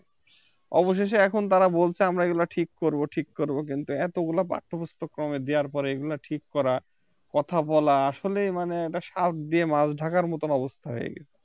অবশেষে এখন তারা বলছে আমরা এগুলা ঠিক করব ঠিক করব কিন্তু এতগুলা পাঠ্যপুস্তক্রমে দেওয়ার পরে এগুলা ঠিক করা কথা বলা আসলেই মানে একটা শাক দিয়ে মাছ ঢাকার মতো অবস্থা হয়ে গিয়েছে